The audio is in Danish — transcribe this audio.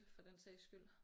For den sags skyld